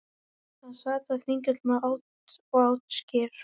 Hann sat á Þingvöllum og át skyr.